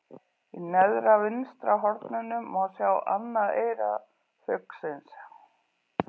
Í neðra vinstra horninu má sjá annað eyra fuglsins.